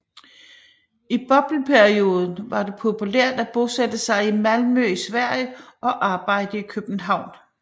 I bobleperioden var det populært at bosætte sig i Malmø i Sverige og arbejde i København